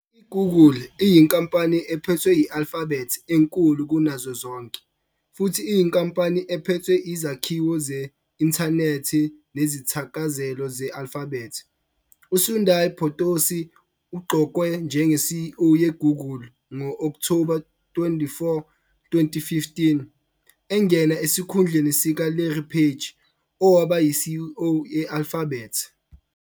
I-Google iyinkampani ephethwe yi-Alphabet enkulu kunazo zonke futhi iyinkampani ephethe izakhiwo ze-inthanethi nezithakazelo ze-Alphabet. U-Sundar Photosi uqokwe njenge-CEO ye-Google ngo-Okthoba 24, 2015, engena esikhundleni sika-Larry Page, owaba yi-CEO ye-Alphabet.